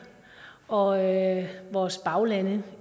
og vores baglande